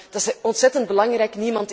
Dat is ontzettend belangrijk.